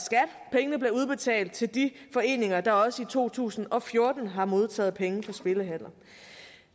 pengene bliver udbetalt til de foreninger der også i to tusind og fjorten har modtaget penge fra spillehaller